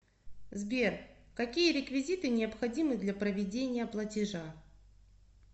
сбер какие реквизиты необходимы для проведения платежа